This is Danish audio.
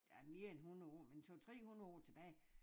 Ja mere end 100 år men 2 3 hundrede år tilbage